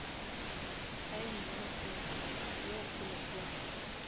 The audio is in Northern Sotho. fine ye kgolo kgolo